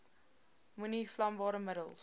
moenie vlambare middels